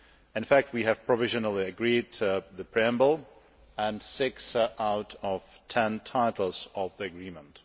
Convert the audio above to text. In fact, we have provisionally agreed the preamble and six out of ten titles of the Agreement.